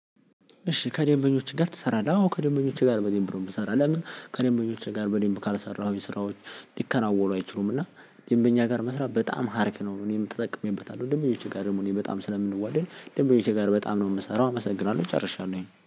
እሺ ከደንበኞችህ ጋር ትሰራለህ? አዎ ከደንበኞቼ ጋር በደንብ ነው እምሰራው። ከደንበኞቼ ጋር በደንብ ካልሰራሁኝ ስራዎች ሊከናወኑ አይችሉም። እና ደንበኛ ጋር መስራት በጣም ሀሪፍ ነው። እኔም ተጠቅሜበታለሁ ደንበኞቼ ጋር ደግሞ እኔ በጣም ስለምንዋደድ ደንበኞቼ ጋር በጣም ነው የምሰራው አመሰግናለሁ። ጨርሻለሁ